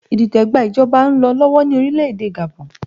Idite gba ìjọba ń lọ lọ́wọ́ ní orílẹ̀ èdè Gabon